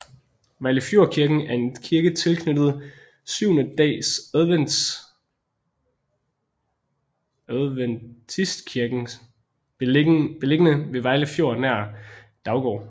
Vejlefjordkirken er en kirke tilknyttet Syvende Dags Adventistkirken beliggende ved Vejle Fjord nær Daugård